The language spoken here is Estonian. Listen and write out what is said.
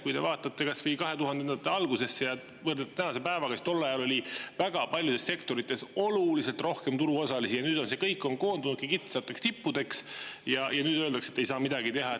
Kui te vaatate kas või 2000-ndate algusesse ja võrdlete tänase päevaga, siis tol ajal oli väga paljudes sektorites oluliselt rohkem turuosalisi ja nüüd see kõik on koondunudki kitsasteks tippudeks ja nüüd öeldakse, et ei saa midagi teha.